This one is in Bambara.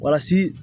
Walasi